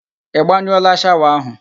Ị gbanyụọla shawa ahụ?